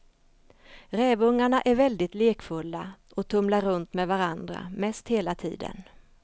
Rävungarna är väldigt lekfulla och tumlar runt med varandra mest hela tiden.